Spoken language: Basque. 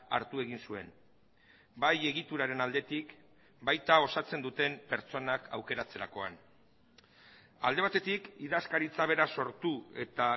hartu egin zuen bai egituraren aldetik baita osatzen duten pertsonak aukeratzerakoan alde batetik idazkaritza bera sortu eta